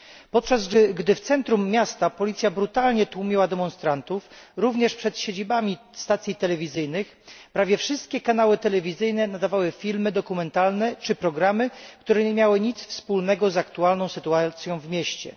Podczas gdy w centrum miasta policja brutalnie tłumiła demonstracje, również przed siedzibami stacji telewizyjnych, prawie wszystkie kanały telewizyjne nadawały filmy dokumentalne czy programy, które nie miały nic wspólnego z aktualną sytuacją w mieście.